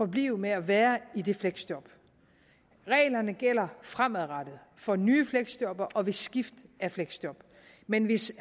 blive ved med at være i det fleksjob reglerne gælder fremadrettet for nye fleksjob og ved skift af fleksjob men hvis